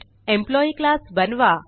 employee class बनवा